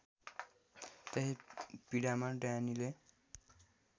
त्यही पीडामा ड्यानीले